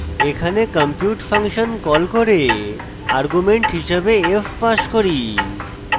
এখানে compute function call করে argument হিসাবে f pass করি